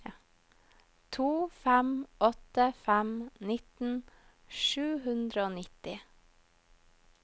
to fem åtte fem nitten sju hundre og nitti